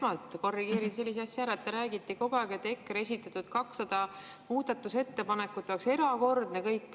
Ma esmalt korrigeerin sellise asja ära, et te räägite kogu aeg, et EKRE esitatud 200 muudatusettepanekut oleks nagu erakordne.